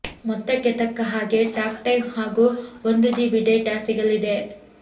ಮೊತ್ತಕ್ಕೆ ತಕ್ಕ ಹಾಗೆ ಟಾಕ್ ಟೈಮ್ ಹಾಗೂ ಒಂದು ಜಿಬಿ ಡೇಟಾ ಸಿಗಲಿದೆ